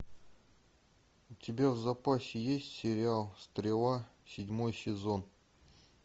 у тебя в запасе есть сериал стрела седьмой сезон